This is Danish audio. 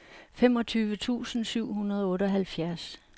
femogtyve tusind syv hundrede og otteoghalvfjerds